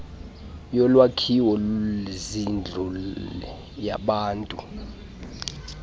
yolwakhiwo zindlu yabantu